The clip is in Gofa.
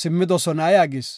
simmidosona” yaagis.